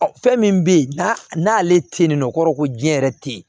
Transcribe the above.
fɛn min bɛ ye n'ale tɛ yen nɔ kɔrɔ ko diɲɛ yɛrɛ tɛ yen